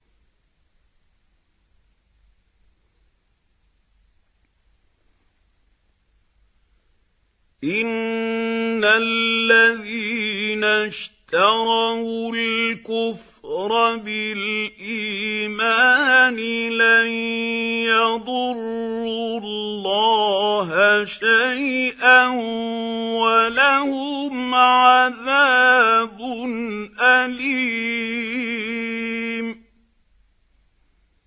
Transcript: إِنَّ الَّذِينَ اشْتَرَوُا الْكُفْرَ بِالْإِيمَانِ لَن يَضُرُّوا اللَّهَ شَيْئًا وَلَهُمْ عَذَابٌ أَلِيمٌ